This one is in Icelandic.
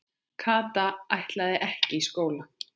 Kata ætlaði ekki í skóla.